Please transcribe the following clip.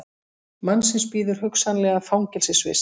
Mannsins bíður hugsanlega fangelsisvist